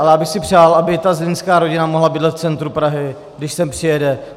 Ale já bych si přál, aby ta zlínská rodina mohla bydlet v centru Prahy, když sem přijede.